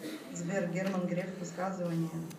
сбер герман греф высказывания